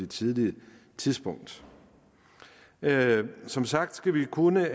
tidligt tidspunkt som sagt skal vi kunne